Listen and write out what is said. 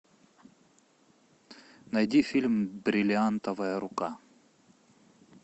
найди фильм бриллиантовая рука